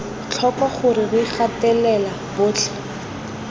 tlhoko gore re gatelela botlhe